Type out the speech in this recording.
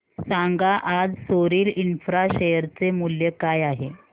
सांगा आज Soril infra share चे मूल्य काय आहे